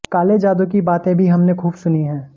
काले जादू की बातें भी हमने खूब सुनी हैं